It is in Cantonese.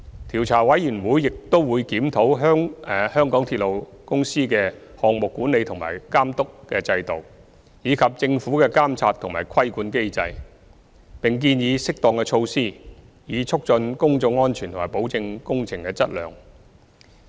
調查委員會亦會檢討港鐵公司的項目管理和監督等制度，以及政府的監察和規管機制，並建議適當措施，以促進公眾安全和保證工程的質量。